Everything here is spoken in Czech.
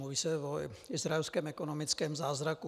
Mluví se o izraelském ekonomickém zázraku.